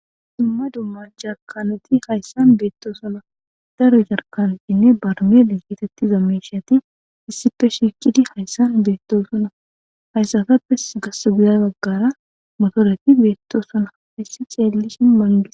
dumma dumma jarkanoti hayssan beetto suna daro jarkanotinne barmele keetetti zameshyati issippe shiikkidi hayssan beettoosuna hayssatappes gas guda baggara motoreti beetto suna.